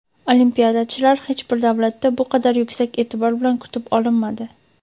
olimpiadachilar hech bir davlatda bu qadar yuksak e’tibor bilan kutib olinmadi!.